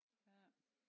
Ja